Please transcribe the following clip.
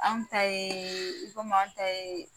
Anw ta ye i komi an ta ye